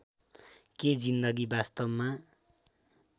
के जिन्दगी वास्तवमा